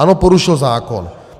Ano, porušil zákon.